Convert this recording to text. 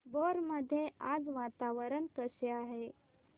भोर मध्ये आज वातावरण कसे आहे